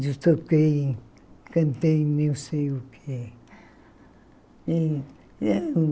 Eu toquei, cantei, nem sei o quê.